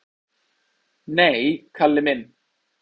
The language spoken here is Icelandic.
"""Nei, Kalli minn."""